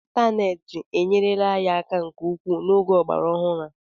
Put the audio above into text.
Ịntaneetị enyerela anyị aka nke ukwuu n'oge ọgbara ọhụrụ a